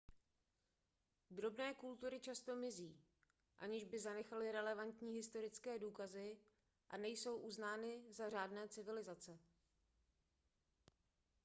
drobné kultury často mizí aniž by zanechaly relevantní historické důkazy a nejsou uznány za řádné civilizace